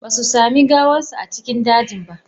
Ba su sami gawarsa a cikin dajin ba.